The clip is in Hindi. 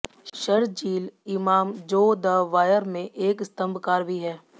शरजील इमाम जो द वायर में एक स्तंभकार भी है